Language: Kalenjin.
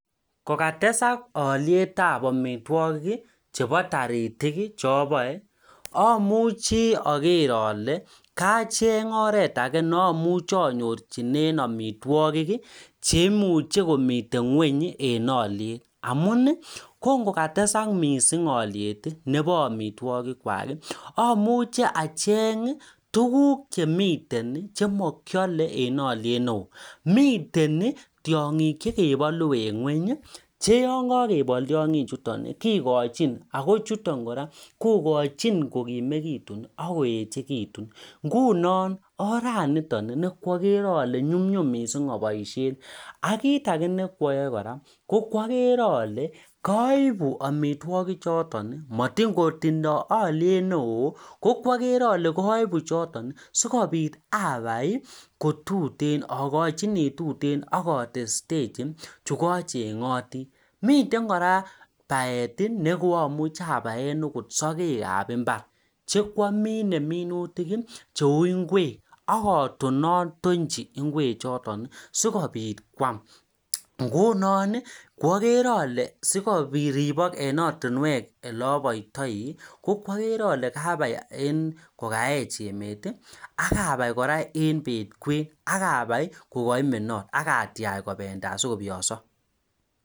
Koketas aliet ab amitwokik ab taritik che abai achenge oret akee nebo amitwokik cheimuchi komitei ngony eng aliet cheuu tiongik cheboo ngony mitei koraa cheuu sokek ab imbar kouu ngwek